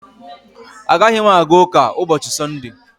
Agaghị m aga ụka ụbọchị Sọnde